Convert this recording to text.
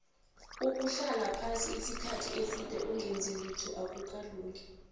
ukuhlala phasi isikhathi eside ongenzilitho akukalungi